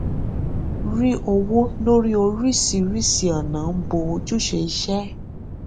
rí owó lórí oríṣìíríṣìí ọnà ń bọ ojúṣé isé